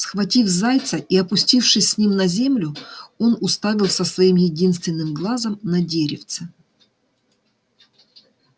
схватив зайца и опустившись с ним на землю он уставился своим единственным глазом на деревце